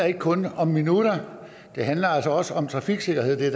ikke kun handler om minutter det handler også om trafiksikkerhed